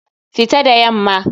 Fita da yamma!